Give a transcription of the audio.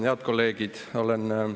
Head kolleegid!